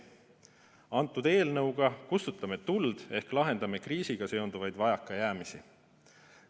Antud eelnõuga kustutame tuld ehk lahendame kriisiga seonduvaid vajakajäämisi.